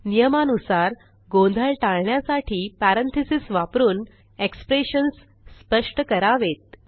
नियमानुसार गोंधळ टाळण्यासाठी पॅरेंथीसेस वापरून एक्सप्रेशन्स स्पष्ट करावेत